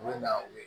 U bɛ na u ye